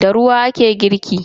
Da ruwa ake girki.